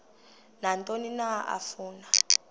nantoni na afuna